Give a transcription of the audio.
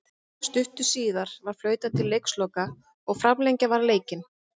Stuttu síðar var flautað til leiksloka og framlengja varð leikinn.